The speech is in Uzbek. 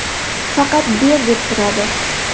Faqat ber deb turadi.